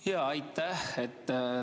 Jaa, aitäh!